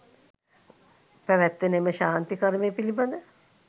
පැවැත්වෙන එම ශාන්ති කර්මය පිළිබඳ